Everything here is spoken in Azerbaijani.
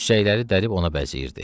Çiçəkləri dərib ona bəzəyirdi.